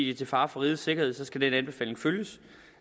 er til fare for rigets sikkerhed skal den anbefaling følges